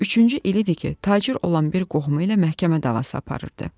Üçüncü il idi ki, tacir olan bir qohumu ilə məhkəmə davası aparırdı.